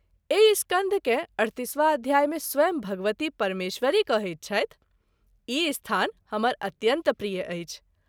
एहि स्कंध के 38 वाँ अध्याय मे स्वयं भगवती परमेश्वरी कहैत छथि -“ ई स्थान हमर अत्यन्त प्रिय अछि।